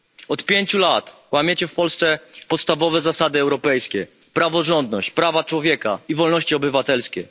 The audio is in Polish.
Od pięciu lat łamiecie w Polsce podstawowe zasady europejskie praworządność, prawa człowieka i wolności obywatelskie.